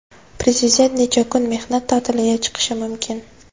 Prezident necha kun mehnat ta’tiliga chiqishi mumkin?